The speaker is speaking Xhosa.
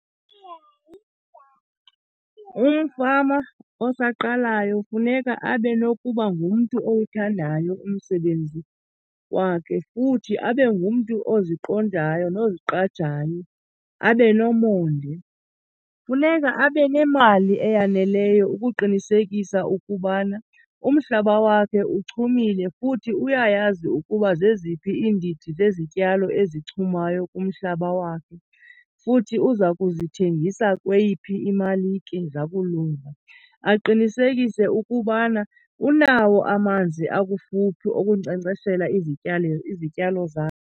Umfama osaqalayo funeka abe nokuba ngumntu owuthandayo umsebenzi wakhe futhi abe ngumntu oziqondayo noziqajayo, abe nomonde. Funeka abe nemali eyaneleyo ukuqinisekisa ukubana umhlaba wakhe uchumile, futhi uyayazi ukuba zeziphi iindidi zezityalo ezichumayo kumhlaba wakhe, futhi uza kuzithengisa kweyiphi imalike zakulunga. Aqinisekise ukubana unawo amanzi akufuphi okunkcenkceshela izityalo zakhe.